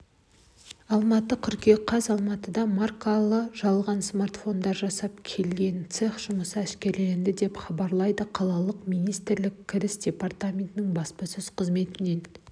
алматы қыркүйек қаз алматыда маркалы жалған смартфондар жасап келген цех жұмысы әшкереленді деп хабарлады қалалық мемлекеттік кіріс департаментінің баспасөз қызметінен